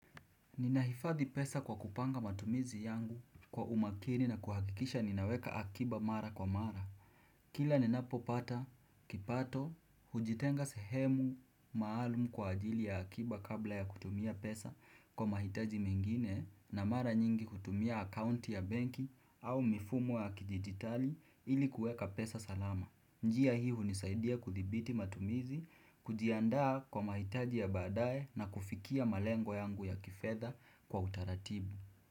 Ninaifadhi pesa kwa kupanga matumizi yangu kwa umakini na kuhakikisha ninaweka akiba mara kwa mara. Kila ninapo pata, kipato, hujitenga sehemu maalum kwa ajili ya akiba kabla ya kutumia pesa kwa mahitaji mengine na mara nyingi kutumia akaunti ya benki au mifumo ya kidigitali ili kueka pesa salama. Njia hii hunisaidia kuthibiti matumizi, kujiandaa kwa mahitaji ya baadae na kufikia malengo yangu ya kifedha kwa utaratibu.